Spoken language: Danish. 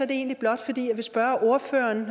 det egentlig blot fordi jeg vil spørge ordføreren